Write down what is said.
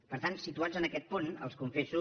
per tant situats en aquest punt els confesso